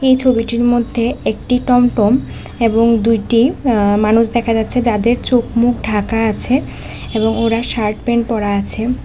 এই ছবিটির মধ্যে একটি টমটম এবং দুইটি আ মানুষ দেখা যাচ্ছে যাদের চোখ মুখ ঢাকা আছে এবং ওরা শার্ট প্যান্ট পরা আছে।